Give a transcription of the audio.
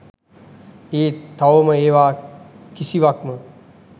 ඒත් තවම ඒවා කිසිවක්ම